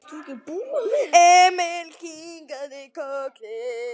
Emil kinkaði kolli.